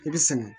I bɛ sɛgɛn